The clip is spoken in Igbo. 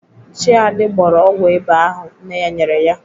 Chiadi gbọrọ ọgwụ ịba ahụ nne ya nyere ya.